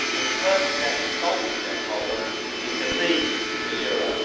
The first step in solving their problems is to leave the euro